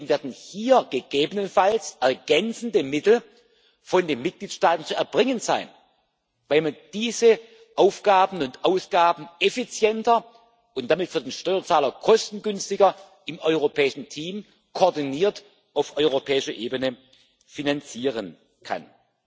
Und deswegen werden hier gegebenenfalls ergänzende Mittel von den Mitgliedstaaten zu erbringen sein, weil man diese Aufgaben und Ausgaben effizienter und damit für den Steuerzahler kostengünstiger im europäischen Team, koordiniert auf europäischer Ebene finanzieren kann.